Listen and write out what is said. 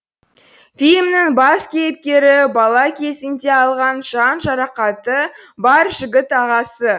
фильмнің бас кейіпкері бала кезінде алған жан жарақаты бар жігіт ағасы